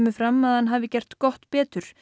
fram að hann hafi gert gott betur